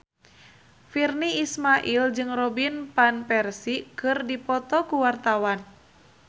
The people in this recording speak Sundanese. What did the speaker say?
Virnie Ismail jeung Robin Van Persie keur dipoto ku wartawan